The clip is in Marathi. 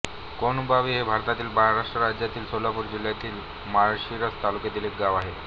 कोंडबावी हे भारतातील महाराष्ट्र राज्यातील सोलापूर जिल्ह्यातील माळशिरस तालुक्यातील एक गाव आहे